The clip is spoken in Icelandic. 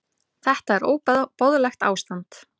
Þetta er óboðlegt ástand.